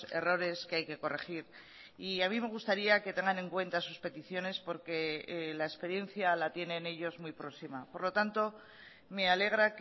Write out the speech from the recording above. errores que hay que corregir y a mí me gustaría que tengan en cuenta sus peticiones porque la experiencia la tienen ellos muy próxima por lo tanto me alegra